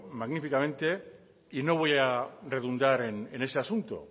magníficamente y no voy a redundar en ese asunto